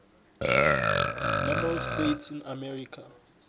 number of states in america